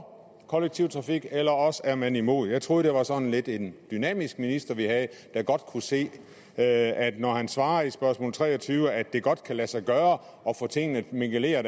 kollektiv trafik eller også er man imod jeg troede det var sådan lidt en dynamisk minister vi havde der godt kunne se at når han svarer på spørgsmål tre og tyve at det alligevel godt kan lade sig gøre at få tingene mingeleret